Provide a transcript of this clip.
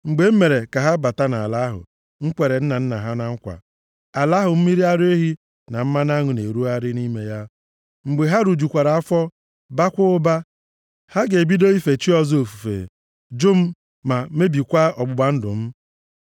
Mgbe m mere ka ha bata nʼala ahụ m kwere nna nna ha na nkwa, ala ahụ mmiri ara ehi na mmanụ aṅụ na-erugharị nʼime ya, mgbe ha rijukwara afọ, baakwa ụba, ha ga-ebido ife chi ọzọ ofufe, jụ m, ma mebikwaa ọgbụgba ndụ m.